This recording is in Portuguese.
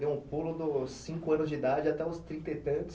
Deu um pulo dos cinco anos de idade até os trinta e tantos.